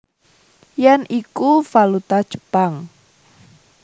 Yen iku valuta Jepang